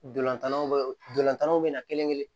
Dolantanlontanlaw bɛ na kelen kelen